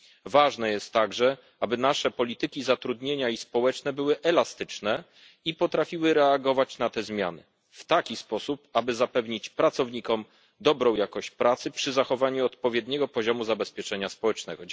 Ważne jest także, aby nasze polityki zatrudnienia i polityki społeczne były elastyczne i potrafiły reagować na te zmiany w taki sposób, aby zapewnić pracownikom dobrą jakość pracy przy zachowaniu odpowiedniego poziomu zabezpieczenia społecznego.